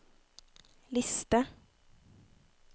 liste